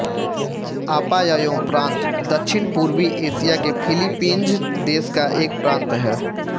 Apayao प्रान्त दक्षिणपूर्वी Asia के फ़िलिपीन्ज़ देश का एक प्रान्त है